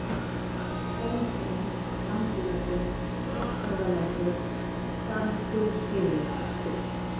Bólhraun, Langiveggur, Krosshöfðalækur, Garðsskurðshylur